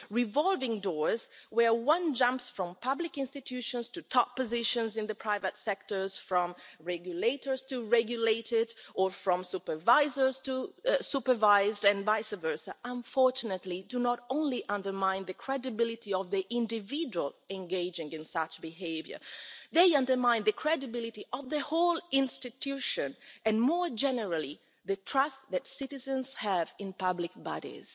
Revolving doors, where one jumps from public institutions to top positions in the private sector, from regulators to regulated, or from supervisors to supervised, and vice versa unfortunately not only undermine the credibility of the individual engaging in such behaviour, but undermine the credibility of the whole institution and, more generally, the trust that citizens have in public bodies,